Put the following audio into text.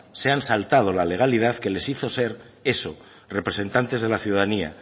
se han saltado la legalidad que los hizo ser eso representantes de la ciudadanía